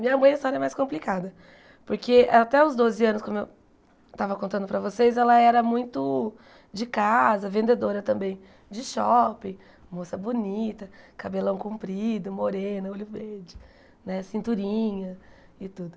Minha mãe a história é mais complicada, porque até os doze anos, como eu tava contando para vocês, ela era muito de casa, vendedora também, de shopping, moça bonita, cabelão comprido, morena, olho verde, né, cinturinha e tudo.